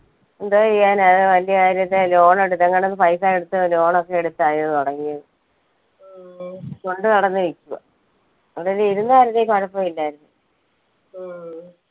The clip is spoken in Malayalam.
എന്താ ചെയ്യാനാ ഏർ വലിയ കാര്യല്ലേ loan എടുത്തങ്ങണ്ട പൈസ എടുത്ത് loan ഒക്കെ എടുത്തായിരുന്നു തുടങ്ങിയത് കൊണ്ട് നടന്ന് വിക്കുവാ അതൊരു ഇരുന്നായിരുന്നെ കുഴപ്പുല്ലായിരുന്നു